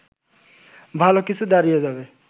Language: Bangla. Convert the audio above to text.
ভালো কিছু দাঁড়িয়ে যাবে